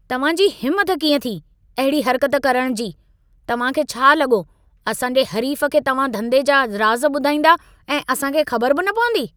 तव्हां जी हिमत कीअं थी, अहिड़ी हरकत करण जी? तव्हां खे छा लॻो असां जे हरीफ़ खे तव्हां धंधे जा राज़ ॿुधाईंदा ऐं असां खे ख़बर बि न पवंदी?